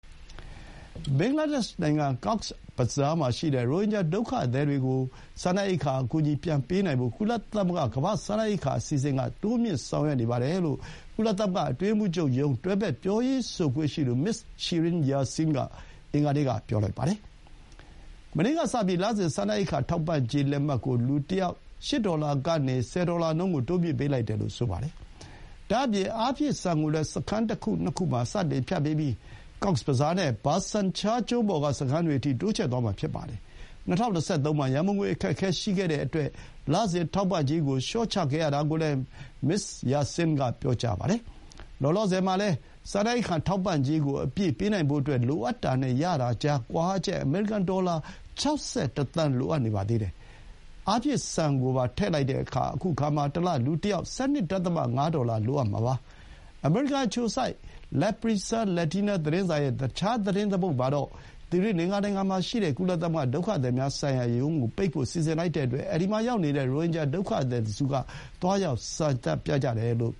ဘင်္ဂလားဒေ့ရှ်နိုင်ငံ ကောက်စ်ဘဇားမှာရှိတဲ့ ရိုဟင်ဂျာဒုက္ခသည်တွေကို စားနပ်ရိက္ခာအကူအညီပြန်ပေးနိုင်ဖို့ ကုလသမဂ္ဂ ကမ္ဘာ့စားနပ်ရိက္ခာအစီအစဥ်က တိုးမြှင့်ဆောင်ရွက်နေပါတယ်လို့ ကုလသမဂ္ဂ အတွင်းရေးမှူးချုပ်ရုံး တွဲဘက် ပြောရေးဆိုခွင့်ရှိသူ မစ္စ ရှီရင် ယာဆင်း (Shirin Yaseen) က အင်္ဂါနေ့က ပြောပါတယ်။ မနေ့ကစပြီး လစဥ် စားနပ်ရိက္ခာထောက်ပံ့ကြေး လက်မှတ်ကို လူတယောက် ၈ ဒေါ်လာကနေ ၁၀ ဒေါ်လာနှုန်းကို တိုးမြှင့်ပေးလိုက်တယ်လို့ ဆိုပါတယ်။ ဒါ့အပြင် အားဖြည့်ဆန်ကိုလည်း စခန်း ၁ ခု ၂ ခု မှာ စတင်ဖြန့်ပေးပြီး ကောက်စ်ဘဇားနဲ့ ဘာဆန်ချားကျွန်းပေါ် က စခန်းတွေအထိ တိုးချဲ့သွားမှာဖြစ်ပါတယ်။ ၂၀၂၃ မှာ ရံပုံငွေ အခက်အခဲရှိခဲ့တဲ့အတွက် လစဥ်ထောက်ပံ့ကြေးကို လျှော့ချခဲ့ရတာကိုလည်း မစ္စယာဆင်း က ပြောသွားပါတယ်။ လောလောဆယ်မှာလည်း စားနပ်ရိက္ခာ ထောက်ပံ့ကြေးအပြည့်ပေးနိုင်ဖို့ လိုအပ်တာနဲ့ ရတာကြားကွာဟချက် အမေရိကန် ဒေါ်လာ ၆၁ သန်း လိုအပ်နေပါသေးတယ်။ အားဖြည့်ဆန်ကိုပါ ထည့်လိုက်တဲ့အခါ ခုအခါမှာ တလ လူတယောက် ၁၂.၅ ဒေါ်လာလိုအပ်မှာပါ။ အမေရိကန် အခြေစိုက် laprensa Latina သတင်းစာရဲ့ သတင်းတပုဒ်မှာတော့ သီရိလင်္ကာနိုင်ငံမှာရှိတဲ့ ကုလသမဂ္ဂ ဒုက္ခသည်များဆိုင်ရာရုံးကို ပိတ်ဖို့ စီစဥ်လိုက်တဲ့အတွက် အဲဒီမှာရောက်နေတဲ့ ရိုဟင်ဂျာဒုက္ခသည်တစုက သွားရောက် ဆန္ဒပြကြတယ်လို့